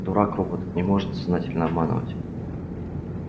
дурак робот не может сознательно обманывать